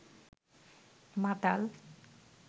মাতাল